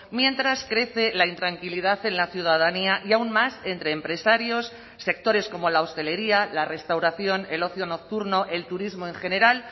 mientras crece la intranquilidad en la ciudadanía y aún más entre empresarios sectores como la hostelería la restauración el ocio nocturno el turismo en general